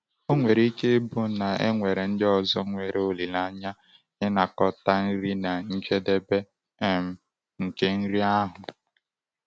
Ọ nwere ike ịbụ na e nwere ndị ọzọ nwere olileanya ịnakọta nri na njedebe um nke nri ahụ.